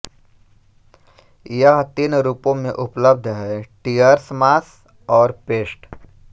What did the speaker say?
यह तीन रूपों में उपलब्ध हैं टियर्स मास और पेस्ट